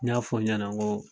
I y'a f'o ɲɛnɛ nko